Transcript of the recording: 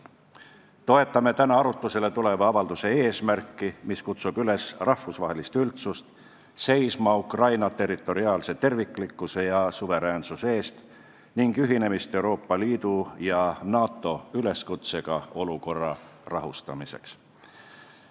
Toetame täna arutlusele tuleva avalduse eesmärki, mis kutsub rahvusvahelist üldsust üles seisma Ukraina territoriaalse terviklikkuse ja suveräänsuse eest, ning ühinemist Euroopa Liidu ja NATO üleskutsega olukorra rahustamiseks.